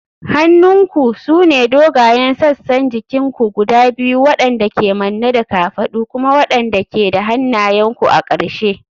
Hannunku sune dogayen sassan jikin ku guda biyu waɗanda ke manne da kafadu kuma waɗanda ke da hannayenku a ƙarshe.